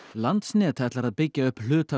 landsnet ætlar að byggja upp hluta